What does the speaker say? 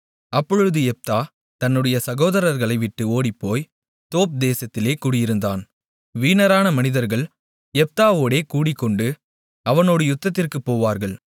அப்பொழுது யெப்தா தன்னுடைய சகோதரர்களை விட்டு ஓடிப்போய் தோப் தேசத்திலே குடியிருந்தான் வீணரான மனிதர்கள் யெப்தாவோடே கூடிக்கொண்டு அவனோடு யுத்தத்திற்குப் போவார்கள்